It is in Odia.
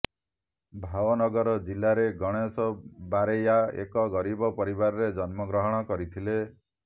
ଭାୱନଗର ଜିଲ୍ଲାରେ ଗଣେଷ ବାରେୟା ଏକ ଗରିବ ପରିବାରରେ ଜନ୍ମ ଗ୍ରହଣ କରିଥିଲେ